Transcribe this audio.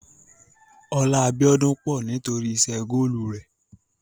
Ọlá Bíọ́dún pọ̀ nítórì iṣẹ́ góòlù rẹ̀.